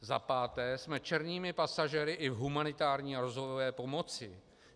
Za páté, jsme černými pasažéry i v humanitární a rozvojové pomoci.